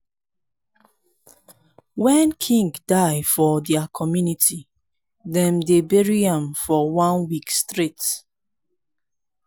when king die for dia community dem dey bury am for one week straight